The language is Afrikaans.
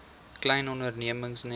klein ondernemings net